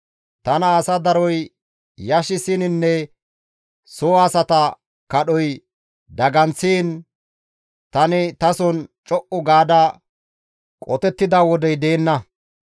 Tana asa daroy yashissininne soo asata kadhoy daganththiin tani tason co7u gaada qotettida wodey deenna.